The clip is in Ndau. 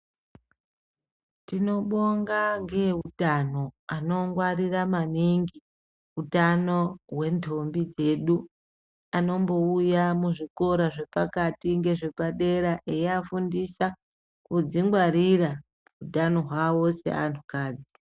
Tinobonga ngeeutano anongwarira maningi, utano hwendombi dzedu, anombouya muzvikora zvepakati ngezvepadera eiyafundisa kudzingwarira utano hwavo seanhukadzi.